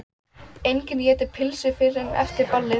Enginn étur pylsur fyrr en eftir ball.